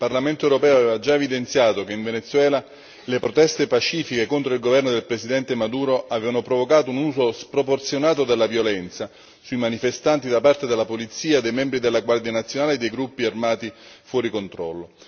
Signor Presidente, onorevoli colleghi, con la risoluzione dello scorso dicembre il Parlamento europeo aveva già evidenziato che in Venezuela le proteste pacifiche contro il governo del Presidente Maduro avevano provocato un uso sproporzionato della violenza sui manifestanti da parte della polizia e dei membri della Guardia nazionale e dei gruppi armati fuori controllo.